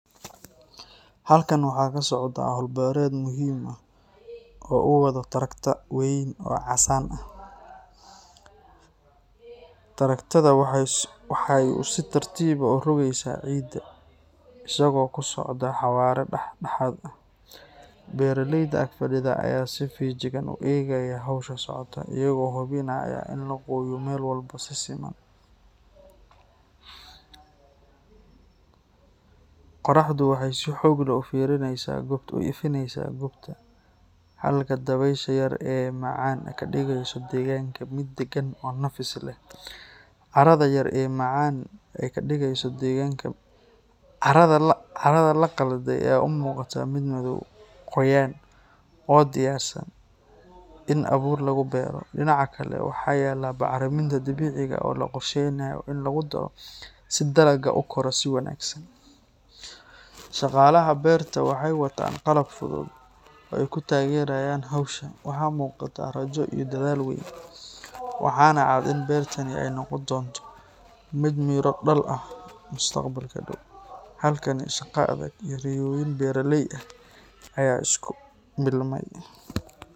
Halkan waxaa ka socdaa hawl beereed muhiim ah oo uu wado trakta weyn oo casaan ah. Traktada waxa uu si tartiib ah u rogayaa ciidda, isagoo ku socda xawaare dhexdhexaad ah. Beeraleyda ag fadhida ayaa si feejigan u eegaya hawsha socota, iyagoo hubinaya in la gooyo meel walba si siman. Qorraxdu waxay si xoog leh u ifinaysaa goobta, halka dabaysha yar ee macaan ay ka dhigeyso deegaanka mid dagan oo nafis leh. Carrada la qalday ayaa u muuqata mid madow, qoyan, oo diyaarsan in abuur lagu beero. Dhinaca kale, waxaa yaalla bacriminta dabiiciga ah oo la qorsheynayo in lagu daro si dalaggu u koro si wanaagsan. Shaqaalaha beerta waxay wataan qalab fudud oo ay ku taageerayaan hawsha. Waxaa muuqata rajo iyo dadaal weyn, waxaana cad in beertani ay noqon doonto mid miro dhal ah mustaqbalka dhow. Halkan, shaqo adag iyo riyooyin beeraley ah ayaa isku milmay.